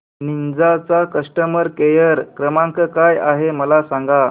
Ninja चा customer care क्रमांक काय आहे मला सांगा